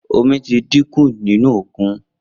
Omi ti dín kun nínú òkun